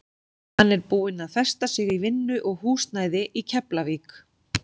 Hann er búinn að festa sig í vinnu og húsnæði í Keflavík.